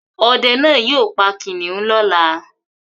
Ọdẹ náá yóò pa kìnnìún lọ́la